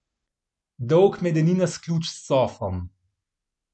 Dolg medeninast ključ s cofom.